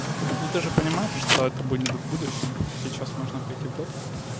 ну ты же понимаешь что это будет в будущем а сейчас можно пойти в дотку